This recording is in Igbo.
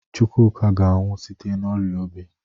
Chukwuka ga-anwụ site n'ọrịa obi.